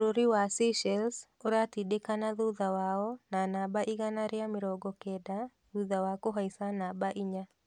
Bũrũri wa Seychelles ũratindìkana thutha wao na namba igana ria mrongo kenda thutha wa kuhaica namba inya.